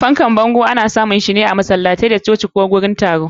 Fankan bango ana yawancin samun shi a masalatai da coci da gurin yin taro.